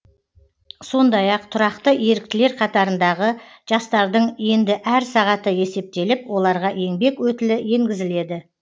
сондай ақ тұрақты еріктілер қатарындағы жастардың енді әр сағаты есептеліп оларға еңбек өтілі енгізіледі